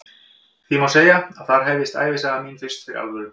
Því má segja að þar hefjist ævisaga mín fyrst fyrir alvöru.